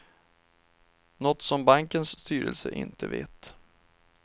Något som bankens styrelse inte vet.